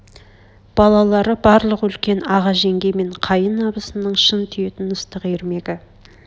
балалары барлық үлкен аға жеңге мен қайын абысынның шын сүйетн ыстық ермегі